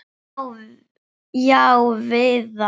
Já, Viðar.